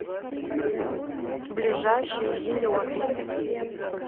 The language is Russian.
ближайший зеленый